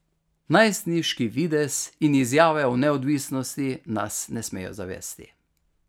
Najstniški videz in izjave o neodvisnosti nas ne smejo zavesti.